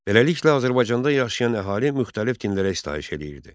Beləliklə, Azərbaycanda yaşayan əhali müxtəlif dinlərə istayış eləyirdi.